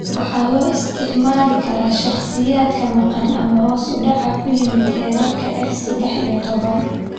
Waxaa loo isticmaali karaa shakhsiyaadka maqan ama hoos u dhac ku yimid heerarka F sedex iyo toban.